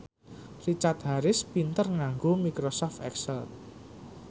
Richard Harris pinter nganggo microsoft excel